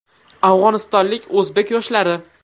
Afg‘onistonlik o‘zbek yoshlari.